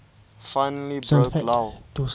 finally broke lou